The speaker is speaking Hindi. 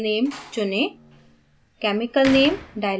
fetch by chemical name चुनें